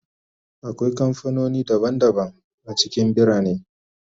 Akwai kamfanoni daban-daban a cikin birane